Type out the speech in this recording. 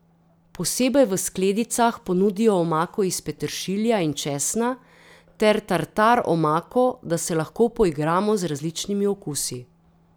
Posebej v skledicah ponudijo omako iz peteršilja in česna ter tartar omako, da se lahko poigramo z različnimi okusi.